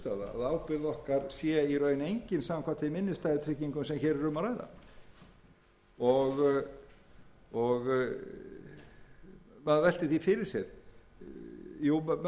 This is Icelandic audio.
sé í raun engin samkvæmt þeim innstæðutryggingum sem hér er um að ræða maður veltir því fyrir sér jú í sjálfu sér